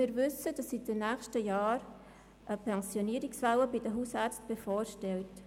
Wir wissen, dass in den nächsten Jahren eine Pensionierungswelle bei den Hausärzten bevorsteht.